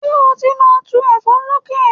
Ṣé o ti lọ tu ẹ̀fọ́ lóko?